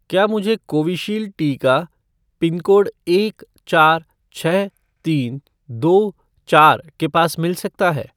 क्या मुझे कोविशील्ड टीका पिनकोड एक चार छः तीन दो चार के पास मिल सकता है?